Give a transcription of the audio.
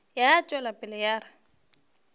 ya tšwela pele ya re